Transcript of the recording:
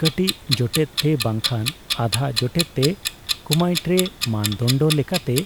ᱠᱟᱹᱴᱤᱡ ᱡᱚᱴᱮᱫᱼᱛᱮ ᱵᱟᱝᱠᱷᱟᱱ ᱟᱫᱷᱟ ᱡᱚᱴᱮᱫᱼᱛᱮ ᱠᱩᱢᱟᱭᱴᱨᱮ, ᱢᱟᱹᱱᱫᱚᱱᱰᱚ ᱞᱮᱠᱟᱛᱮ